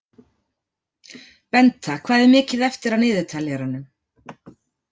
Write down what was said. Benta, hvað er mikið eftir af niðurteljaranum?